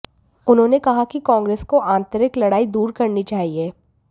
उन्होंने कहा कि कांग्रेस को आंतरिक लड़ाई दूर करनी चाहिए